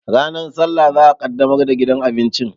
Ranar sallah za'a ƙaddamar da gidan abincin